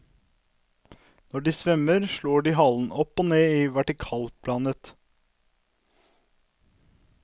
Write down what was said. Når de svømmer, slår de halen opp og ned i vertikalplanet.